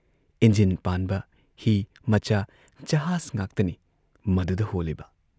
Engine ꯄꯥꯟꯕ ꯍꯤ ꯃꯆꯥ, ꯖꯍꯥꯖ ꯉꯥꯛꯇꯅꯤ ꯃꯗꯨꯗ ꯍꯣꯜꯂꯤꯕ ꯫